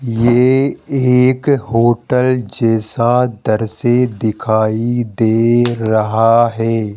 ये एक होटल जैसा दृश्य दिखाई दे रहा है।